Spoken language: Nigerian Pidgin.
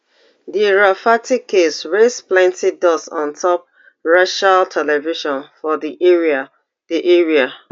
di rafferty case raise plenti dust ontop racial ten sion for di area di area